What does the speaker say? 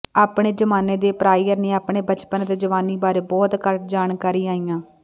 ਆਪਣੇ ਜ਼ਮਾਨੇ ਦੇ ਪ੍ਰਾਇਰ ਨੇ ਆਪਣੇ ਬਚਪਨ ਅਤੇ ਜਵਾਨੀ ਬਾਰੇ ਬਹੁਤ ਘੱਟ ਜਾਣਕਾਰੀ ਆਇਆ